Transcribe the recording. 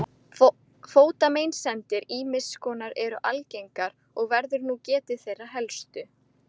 Fótameinsemdir ýmiss konar eru algengar og verður nú getið þeirra helstu